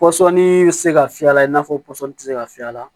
Pɔsɔni tɛ se ka fiyɛ a la i n'a fɔ pɔsɔni tɛ se ka fiyɛ a la